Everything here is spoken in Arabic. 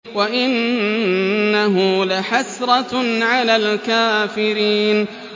وَإِنَّهُ لَحَسْرَةٌ عَلَى الْكَافِرِينَ